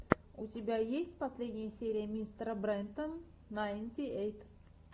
у тебя есть последняя серия мистера брента найнти эйт